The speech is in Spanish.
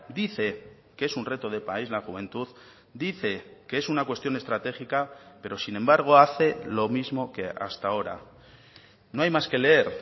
dice que es un reto de país la juventud dice que es una cuestión estratégica pero sin embargo hace lo mismo que hasta ahora no hay más que leer